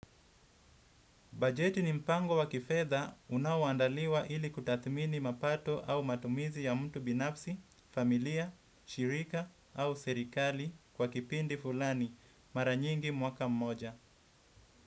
Bajeti ni mpango wa kifedha unaoandaliwa ili kutathmini mapato au matumizi ya mtu binafsi, familia, shirika au serikali kwa kipindi fulani, mara nyingi mwaka mmoja.